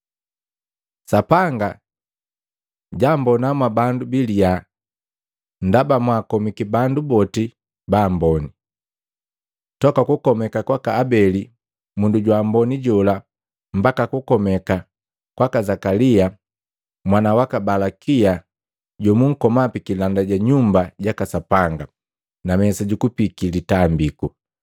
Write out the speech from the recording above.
Sapanga jammbona mwa bandu biliya ndaba mwaakomiki bandu boti ba amboni, toka kukomeka kwaka Abeli mundu jwa amboni jola mbaka kukomeka kwaka Zakalia mwana waka Balakia jomunkoma pikilanda ja Nyumba jaka Sapanga na mesa jukupiki litambiku.